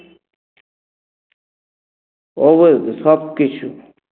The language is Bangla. সবকিছু